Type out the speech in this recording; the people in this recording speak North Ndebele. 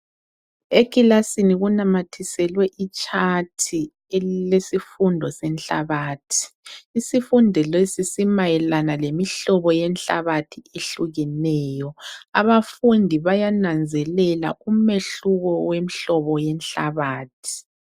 Ekilasini kunamathiselwe itshathi elilesifundo senhlabathi, isifundo lesi simayelana lemihlobo yenhlabathi ehlukeneyo, abafundi bayananzelela umehluko wemhlobo yenhlabathi.